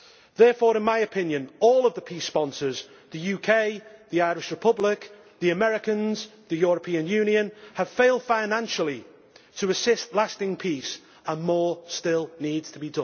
Therefore in my opinion, all of the peace sponsors the UK, the Irish Republic, the Americans, the European Union have failed financially to assist lasting peace, and more still needs to